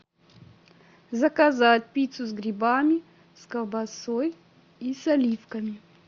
заказать пиццу с грибами с колбасой и с оливками